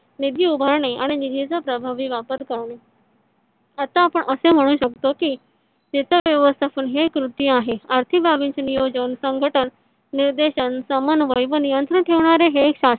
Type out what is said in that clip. निधी उभारणे आणि निधी चा प्रभावी वापर करणे आता आपण असे म्हणू शकतो की वित्त व्यवस्थापन हे कृती आहे आर्थिक बाबींचे नियोजन संघटन निर्देशन समन्वय व नियंत्रण ठेवणारे हे एक शा